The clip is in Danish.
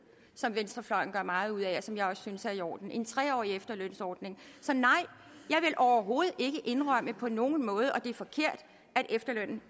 som venstrefløjen gør meget ud af og som jeg også synes er i orden en tre årig efterlønsordning så nej jeg vil overhovedet ikke indrømme på nogen måde at efterlønnen